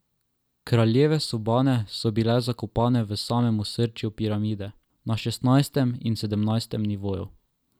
Kraljeve sobane so bile zakopane v samem osrčju piramide, na šestnajstem in sedemnajstem nivoju.